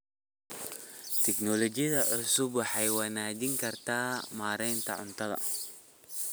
Tignoolajiyada cusubi waxay wanaajin kartaa maaraynta cuntada